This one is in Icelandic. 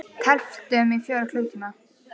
Við tefldum í fjóra klukkutíma!